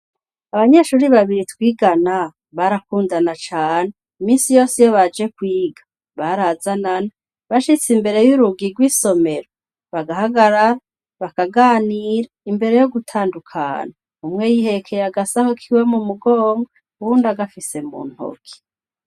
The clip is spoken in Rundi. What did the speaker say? Abanyeshure babiri twigana barakundana cane , minsi yose iyo bake kwiga barazanana , bashitse imbere y' urugi rw' isomero bagahagarara , bakaganira imbere yo gutandukana. Umwe yihekeye agasaho kiwe mu mugongo , uwundi agafise mu ntoki.